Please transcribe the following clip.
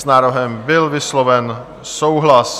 S návrhem byl vysloven souhlas.